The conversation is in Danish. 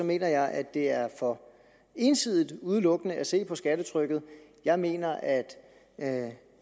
mener jeg at det er for ensidigt udelukkende at se på skattetrykket jeg mener at at